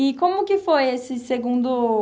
E como que foi essa segundo